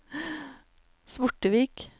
Svortevik